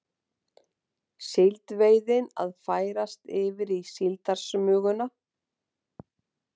Síldveiðin að færast yfir í síldarsmuguna